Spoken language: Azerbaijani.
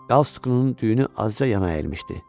Qalstukunun düyünü azca yana əyilmişdi.